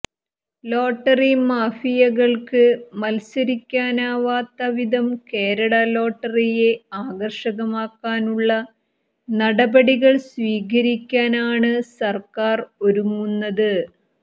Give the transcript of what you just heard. lottery മാഫിയകൾക്ക് മത്സരിക്കാനാവാത്ത വിധം കേരള ലോട്ടറിയെ ആകർഷകമാക്കാനുള്ള നടപടികൾ സ്വീകരിക്കാൻ ആണ് സർക്കാർ ഒരുങ്ങുന്നത്